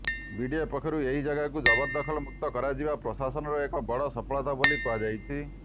BDA ପକ୍ଷରୁ ଏହି ଜାଗାକୁ ଜବରଦଖଲ ମୁକ୍ତ କରାଯିବା ପ୍ରଶାସନର ଏକ ବଡ଼ ସଫଳତା ବୋଲି କୁହାଯାଉଛି